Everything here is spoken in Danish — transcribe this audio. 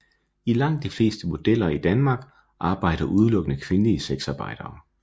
I langt de fleste bordeller i Danmark arbejder udelukkende kvindelige sexarbejdere